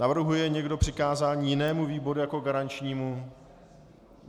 Navrhuje někdo přikázání jinému výboru jako garančnímu?